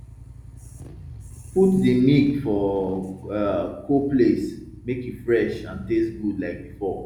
put di milk for um cold place make e fresh and taste good like before